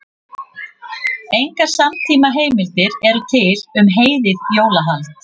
Engar samtímaheimildir eru til um heiðið jólahald.